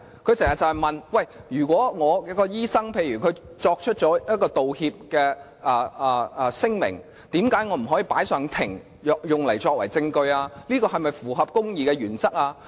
她經常問，如果她的醫生作出道歉聲明，為何她不可以將之提交法庭作為證據？這是否符合公義原則？